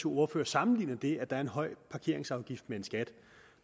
ordfører sammenligner det at der er en høj parkeringsafgift med en skat